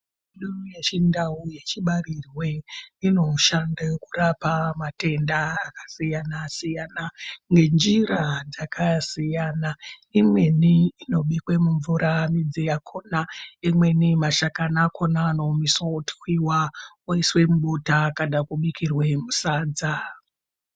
Mitombo yechindau yechibarirwe inoshande kurapa matenda akasiyyana-siyana. Ngenjira dzakasiyana imweni inobikwa mumvura midzi yakona. Imweni mashakani akona anoomeswa otwiva oiswe mubota kana kubikirwe musadza.